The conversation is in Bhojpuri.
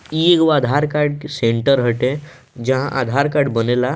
इ एगो आधार कार्ड सेंटर हटे जहाँ आधार कार्ड बनेला।